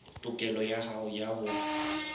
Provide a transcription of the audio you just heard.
tokelo ya hao ya ho